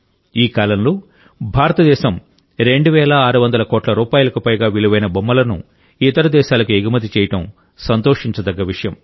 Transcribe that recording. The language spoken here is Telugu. ఈ కాలంలో భారతదేశం రెండు వేల ఆరు వందల కోట్ల రూపాయలకు పైగా విలువైన బొమ్మలను ఇతర దేశాలకు ఎగుమతి చేయడం సంతోషించదగ్గ విషయం